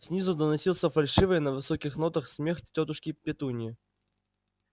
снизу доносился фальшивый на высоких нотах смех тётушки петуньи